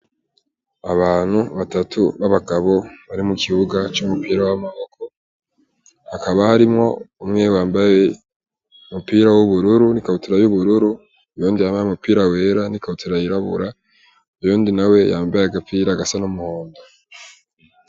Abantu batatu b'abagabo bari mu kibuga c'umupira w'amaboko hakaba harimwo umwewambaye mupira w'ubururu n'i kabutura y'ubururu iyondi yambaye umupira wera n'i kabutera yirabura iyondi na we yambaye agapira agasa n'umuhondo.